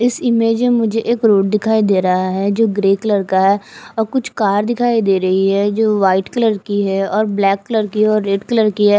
इस इमेज मे मुझे एक रोड दिखाई दे रहा है जो ग्रे कलर का है और कुछ कार दिखाई दे रही है जो व्हाइट कलर की है और ब्लैक कलर की और रेड कलर की है।